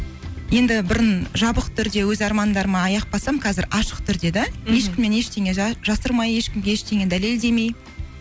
енді бұрын жабық түрде өз армандарыма аяқ басамын қазір ашық түрде де мхм ешкімнен ештеңе жасырмай ешкімге ештеңе дәлелдемей